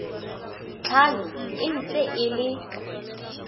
tlhano e ntse e le